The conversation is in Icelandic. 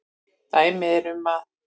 Dæmi eru um að